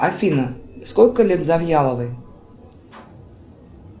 афина сколько лет завьяловой